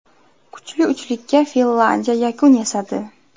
Kuchli uchlikka Finlyandiya yakun yasadi.